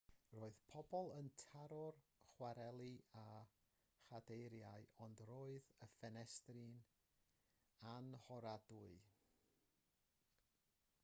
roedd pobl yn taro'r cwareli â chadeiriau ond roedd y ffenestri'n annhoradwy